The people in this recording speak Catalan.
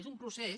és un procés